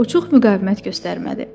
O çox müqavimət göstərmədi.